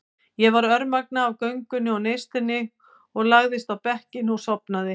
Ég var örmagna af göngunni og neyslunni og lagðist á bekkinn og sofnaði.